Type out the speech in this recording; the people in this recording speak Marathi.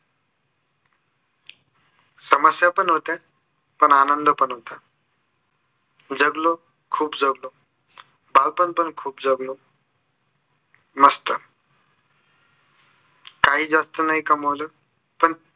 समस्या पण होत्या. पण आनंद पण होता. जगलो खूप जगलो. बालपन पण खूप जगलो. मस्त काही जास्त नाही कमावलं. पण